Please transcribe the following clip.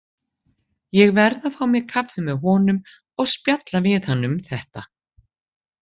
Ég verð að fá mér kaffi með honum og spjalla við hann um þetta.